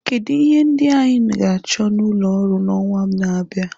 Kedu ihe ndị anyị ga-achọ n'ulọ oru n'ọnwa na-abịa?